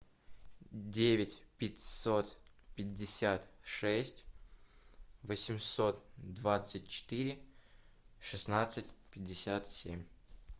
девять пятьсот пятьдесят шесть восемьсот двадцать четыре шестнадцать пятьдесят семь